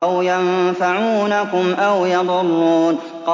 أَوْ يَنفَعُونَكُمْ أَوْ يَضُرُّونَ